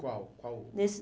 Qual? Qual? Nesse